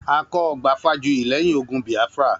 A kọ́ ọgbà Fájuyì lẹ́yìn ogun Biafra